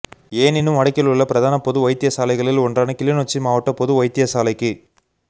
எனினும் வடக்கில் உள்ள பிரதான பொது வைத்தியசாலைகளில் ஒன்றான கிளிநொச்சி மாவட்ட பொது வைத்தியசாலைக்கு